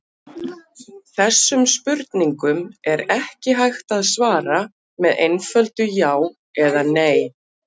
Þessum spurningum er ekki hægt að svara með einföldu já eða nei.